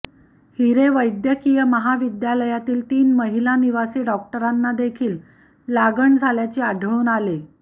हिरे वैद्यकीय महाविद्यालयातील तीन महिला निवासी डॉक्टरांना देखील लागण झाल्याचे आढळून आले